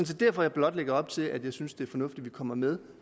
set derfor jeg blot lægger op til at jeg synes det er fornuftigt at vi kommer med